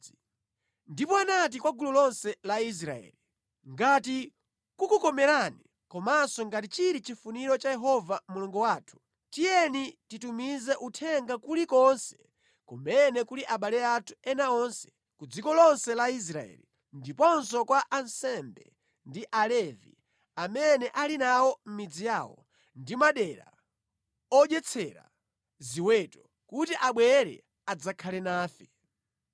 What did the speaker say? Ndipo anati kwa gulu lonse la Israeli, “Ngati kukukomerani komanso ngati chili chifuniro cha Yehova Mulungu wathu, tiyeni titumize uthenga kulikonse kumene kuli abale athu ena onse ku dziko lonse la Israeli ndiponso kwa ansembe ndi Alevi amene ali nawo mʼmidzi yawo ndi madera odyetsera ziweto, kuti abwere adzakhale nafe.